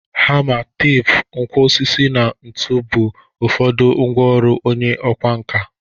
Hama, teepu, nkwọ osisi na ntu bụ ụfọdụ ngwa ọrụ onye ọkwa nka.